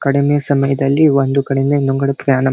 ಕಡಿಮೆ ಸಮಯದಲ್ಲಿ ಒಂದು ಕಡೆಯಿಂದ ಇನ್ನೊಂದು ಕಡೆ ಪ್ಲಾನ್ --